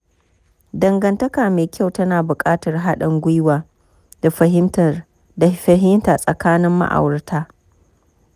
Dangantaka mai kyau tana buƙatar haɗin gwiwa da fahimta tsakanin ma'aurata.